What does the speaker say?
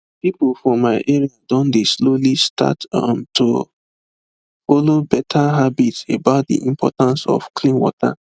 people for my area don dey slowly start um to follow better habit about the importance of clean water